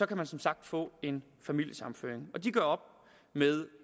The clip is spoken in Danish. kan man som sagt få en familiesammenføring de gør op med